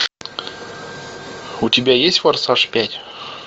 у тебя есть форсаж пять